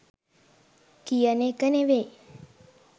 කියන එක නෙවෙයි.